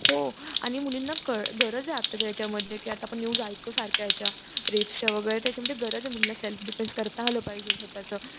आणि मुलींना कळ गरज आहे आताच्या याच्यामध्ये की आपण आता न्यूज ऐकतो सारख्या याच्या रिक्षा वगैरे त्याच्यामुळे गरज आहे. मुलींना सेल्फ डिफेन्स करता आल पाहिजे स्वतःच.